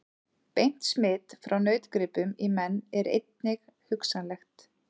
Beint smit frá nautgripum í menn er einnig hugsanlegt.